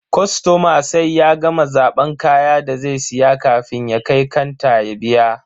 Kostoma sai ya gama zaban kayan da zai siya kafin ya kai kanta ya biya.